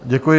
Děkuji.